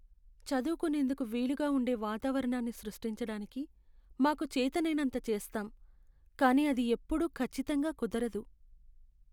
చదువుకునేందుకు వీలుగా ఉండే వాతావరణాన్ని సృష్టించటానికి మాకు చేతనైనంత చేస్తాం, కానీ అది ఎప్పుడూ ఖచ్చితంగా కుదరదు.